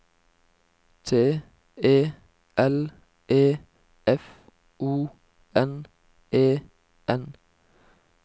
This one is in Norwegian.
T E L E F O N E N